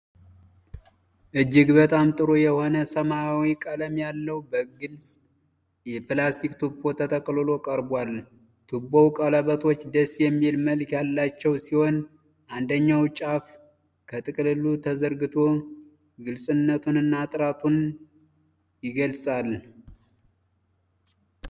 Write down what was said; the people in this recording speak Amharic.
እጅግ በጣም ጥሩ የሆነ ሰማያዊ ቀለም ያለው ግልጽ የፕላስቲክ ቱቦ ተጠቅልሎ ቀርቧል። ቱቦው ቀለበቶች ደስ የሚል መልክ ያላቸው ሲሆን፣ አንደኛው ጫፍ ከጥቅልሉ ተዘርግቶ ግልጽነቱንና ጥራቱን ይገልጻል።